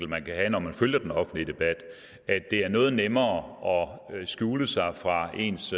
man kan have når man følger den offentlige debat er det noget nemmere at skjule sig fra ens